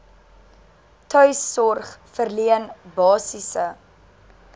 tuissorg verleen basiese